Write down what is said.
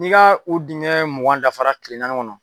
N'i ka o dingɛ mugan dafara tile naani kɔnɔ